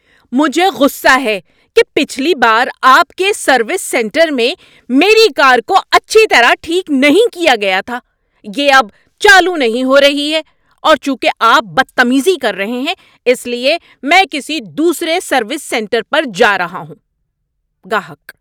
مجھے غصہ ہے کہ پچھلی بار آپ کے سروس سینٹر میں میری کار کو اچھی طرح ٹھیک نہیں کیا گیا تھا۔ یہ اب چالو نہیں ہو رہی ہے اور چونکہ آپ بدتمیزی کر رہے ہیں اس لیے میں کسی دوسرے سروس سینٹر پر جا رہا ہوں۔ (گاہک)